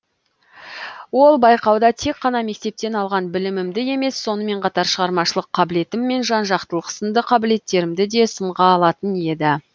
ол байқауда тек қана мектептен алған білімімді емес сонымен қатар шығармашылық қабілетім мен жан жақтылық сынды қабілеттерімді да сынға алатын еді